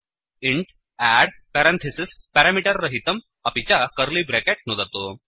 int add parenthesis parameter रहितं अपि च कर्लि ब्रेकेट् नुदतु